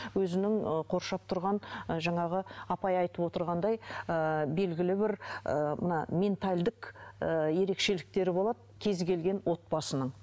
өзінің ы қоршап тұрған ы жаңағы жаңа апай айтып отырғандай ыыы белгілі бір ыыы мына ментальдік ыыы ерекшіліктері болады кез келген отбасының